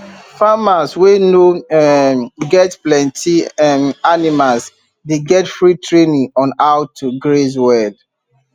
farmers wey no um get plenty um animals dey get free training on how to graze well